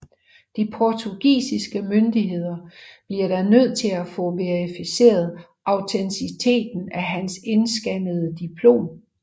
De portugisiske myndigheder bliver da nødt til at få verificeret autenticiteten af hans indskannede diplom